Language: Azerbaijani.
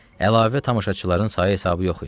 Əlavə tamaşaçıların sayı-hesabı yox idi.